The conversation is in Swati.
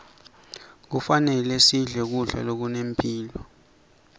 kufanele sidle kudla lokunemphilo